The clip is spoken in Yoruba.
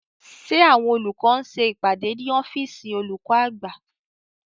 Ṣé àwọn olùkọ́ ń ṣe ìpàdé ní ọ́fìsìn olùkọ́ àgbà?